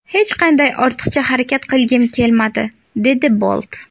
Hech qanday ortiqcha harakat qilgim kelmadi”, dedi Bolt.